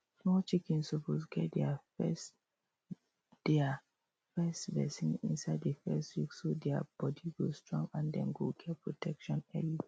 small chickens suppose get deir first deir first vaccine inside the first week so deir body go strong and dem go get protection early